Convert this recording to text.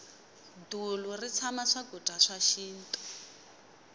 dulu ri tshama swakudya swa xinto